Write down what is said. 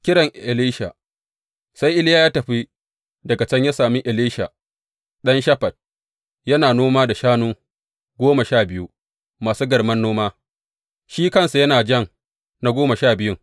Kiran Elisha Sai Iliya ya tafi daga can ya sami Elisha ɗan Shafat, yana noma da shanu goma sha biyu masu garman noma, shi kansa yana jan na goma sha biyun.